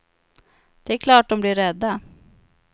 Det är klart dom blir rädda.